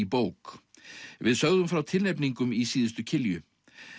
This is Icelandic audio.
bók við sögðum frá tilnefningum í síðustu kilju